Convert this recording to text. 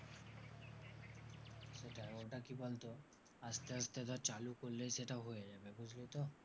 আর ওটা কি বলতো আসতে আসতে ধর চালু করলেই সেটা হয়ে যাবে, বুঝলি তো?